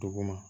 Duguma